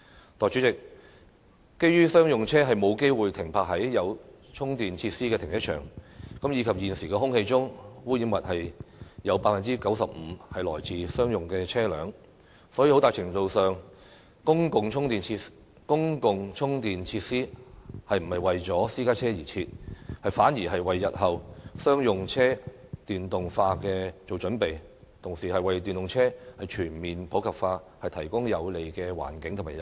代理主席，基於商用車沒有機會停泊在有充電設施的停車場，以及現時有 95% 的空氣污染物是來自商用車，所以很大程度上，公共充電設施不是為私家車而設，反而是為日後商用車電動化做準備，同時為電動車全面普及化提供有利環境和誘因。